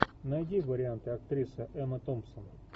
найди варианты актриса эмма томпсон